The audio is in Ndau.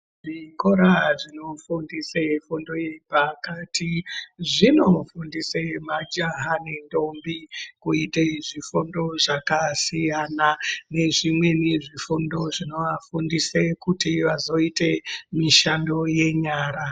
Zvikora zvinofundisa fundo yepakati zvinofundisa majaha nendombi kuita zvifundo zvakasiyana nezvimweni zvifundo zvinovafundisa kuti vazoite mishando yenyara